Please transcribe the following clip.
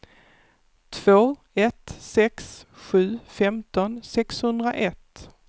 två ett sex sju femton sexhundraett